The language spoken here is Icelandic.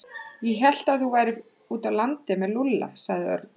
Ég hélt að þú værir úti á landi með Lúlla sagði Örn.